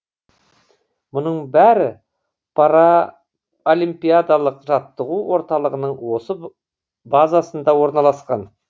мұның бәрі паралимпиадалық жаттығу орталығының осы базасында орналасқан